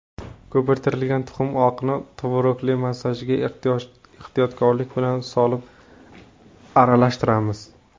Ko‘pirtirilgan tuxum oqini tvorogli massaga ehtiyotkorlik bilan solib aralashtiramiz.